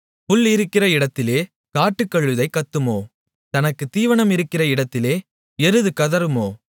புல் இருக்கிற இடத்திலே காட்டுக்கழுதை கத்துமோ தனக்குத் தீவனமிருக்கிற இடத்திலே எருது கதறுமோ